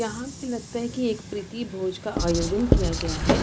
यहाँ पे लगता है की एक प्रीतिभोज का आयोजन किया है।